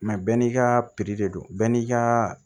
Mɛ bɛɛ n'i ka de don bɛɛ n'i ka